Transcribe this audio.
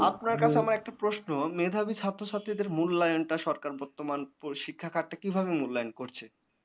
আপনার কাছে আমার একটা প্রশ্ন মেধাবী ছাত্রছাত্রীদের মূল্যায়নটা সরকার বর্তমান পরিশিক্ষা খাত টা কিভাবে মূল্যায়ন করছে?